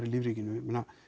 í lífríkinu